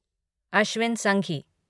Ashwin Sanghi